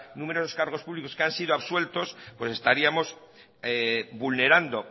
numerosos cargos públicos que han sido absueltos pues estaríamos vulnerando